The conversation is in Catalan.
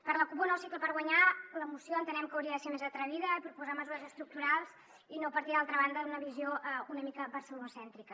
per la cup un nou cicle per guanyar la moció entenem que hauria de ser més atrevida proposar mesures estructurals i no partir d’altra banda d’una visió una mica barcelonocèntrica